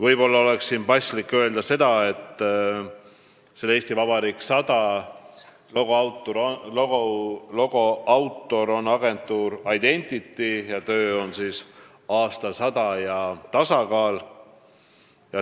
Siin on ehk paslik öelda, et "Eesti Vabariik 100" logo autor on agentuur Identity, kelle töö kandis nimetust "Aastasada ja tasakaal".